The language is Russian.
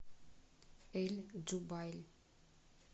эль джубайль